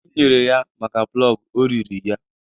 Ego m nyere ya maka plọg, o riri ya